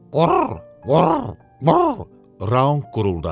"Qur, qur, qur" Raunq quruldadı.